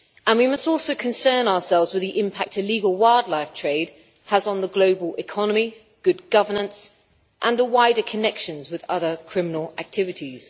We must also concern ourselves with the impact illegal wildlife trade has on the global economy, good governance and the wider connections with other criminal activities.